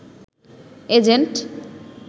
agent